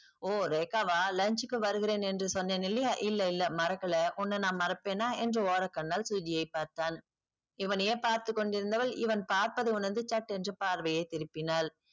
ஓ ரேகா வா lunch க்கு வருகிறேன் என்று சொன்னேனில்லையா இல்ல இல்ல மறக்கல உன்ன நான் மறப்பேன்னா என்று ஓரக்கண்ணால் சுஜியை பார்த்தான். இவனையே பார்த்துக்கொண்டிருந்தவள் இவன் பார்ப்பதை உணர்ந்து சட்டென்று பார்வையை திருப்பினால்